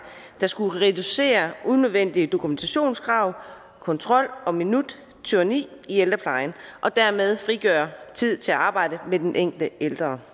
der skulle reducere unødvendige dokumentationskrav og kontrol og minuttyranni i ældreplejen og dermed frigøre tid til arbejdet med den enkelte ældre